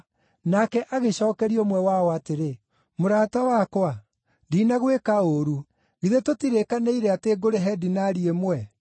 “Nake agĩcookeria ũmwe wao atĩrĩ, ‘Mũrata wakwa, ndinagwĩka ũũru. Githĩ tũtirĩkanĩire atĩ ngũrĩhe dinari ĩmwe?